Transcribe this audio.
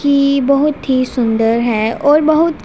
की बहोत ही सुंदर है और बहुत--